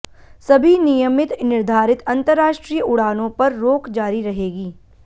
सभी नियमित निर्धारित अंतरराष्ट्रीय उड़ानों पर रोक जारी रहेगी